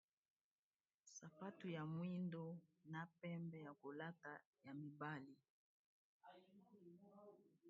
Awa tozomona sapatu ya mibali babengaka kesch. Eza na langi ya mwindo pe na langi ya pembe na se.